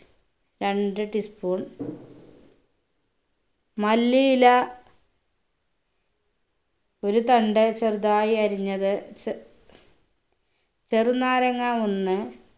രണ്ട് tea spoon മല്ലിയില ഒരു തണ്ട് ചെറുതായി അരിഞ്ഞത് ച് ചെറുനാരങ്ങാ ഒന്ന്